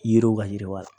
Yiriw ka yiriwa